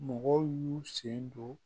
Mɔgɔw y'u sen don